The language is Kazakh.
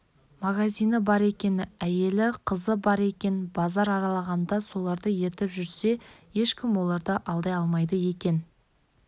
магазині бар екен әйелі қызы бар екен базар аралағанда соларды ертіп жүрсе ешкім оларды алдай алмайды екен